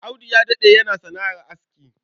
Audu ya daɗe yana sana'ar aski.